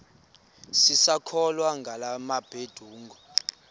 sisakholwa ngala mabedengu